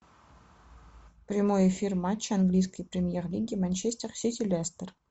прямой эфир матча английской премьер лиги манчестер сити лестер